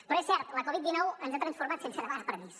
però és cert la covid dinou ens ha transformat sense demanar permís